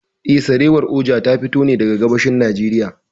Eh, Sarewar Oja ta fito ne daga gabashin Najeriy.